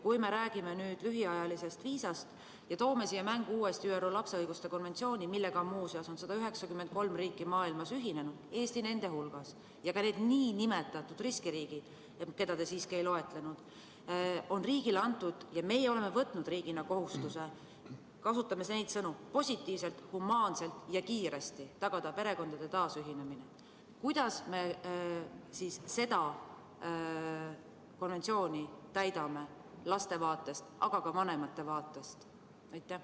Kui me räägime lühiajalisest viisast ja toome siia mängu uuesti ÜRO lapse õiguste konventsiooni, millega muuseas on 193 riiki maailmas ühinenud, Eesti nende hulgas, ja ka need nn riskiriigid, mida te siiski ei loetlenud, kusjuures meie oleme võtnud riigina kohustuse – kasutame neid sõnu – positiivselt, humaanselt ja kiiresti tagada perekondade taasühinemine, siis kuidas me seda konventsiooni täidame laste vaatest, aga ka vanemate vaatest?